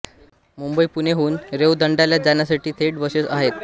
मुंबई पुणे हून रेवदंड्याला जाण्यासाठी थेट बसेस आहेत